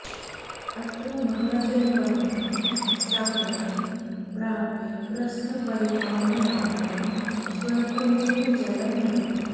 अत्र महाजलवन्तं सागरं प्राप्य प्रस्थपरिमाणमात्रं स्वल्पमेव जलं लभते